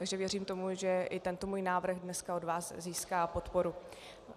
Takže věřím tomu, že i tento můj návrh dneska od vás získá podporu.